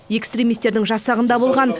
экстримистердің жасағында болған